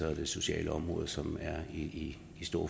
og det sociale område som er i